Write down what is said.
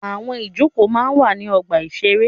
Àwọn ìjókòó máa ń wà ní ọgbà-ìṣeré.